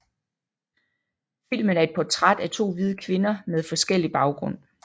Filmen er et portræt af to hvide kvinder med forskellig baggrund